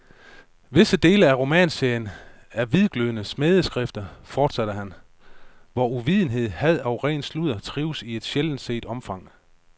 Visse dele af romanserien er hvidglødende smædeskrifter, fortsatte han, hvor uvidenhed, had og ren sludder trives i et sjældent set omfang.